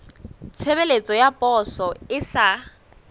tshebeletso ya poso e sa